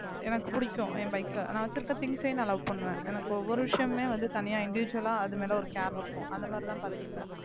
எனக்கு பிடிக்கும் என் bike அ நான் வச்சிருக்கிற things ஐயும் நான் love பண்ணுவேன் எனக்கு ஒவ்வொரு விஷயமுமே வந்து தனியா individual ஆ அது மேல ஒரு care இருக்கும் அந்த மாதிரிதான் பார்த்துப்பேன்